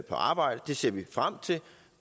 arbejde det ser vi frem til